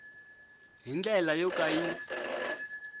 hi ndlela yo ka yi